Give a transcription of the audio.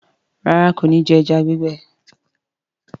Ràrá kò ní jé eja gbigbe.